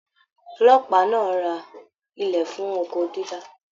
Ọlọ́pàá náà rà ilẹ fún oko dídá.